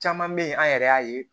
Caman bɛ yen an yɛrɛ y'a ye